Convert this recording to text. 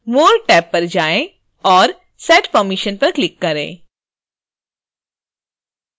more tab पर जाएँ और set permissions पर क्लिक करें